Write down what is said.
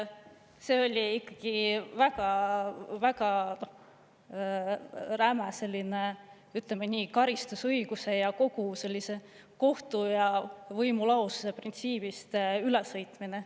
See oli ikkagi väga räme selline, ütleme, nii karistusõiguse kui ka kogu sellise kohtu ja võimu lahususe printsiibist ülesõitmine.